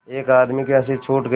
एक आदमी की हँसी छूट गई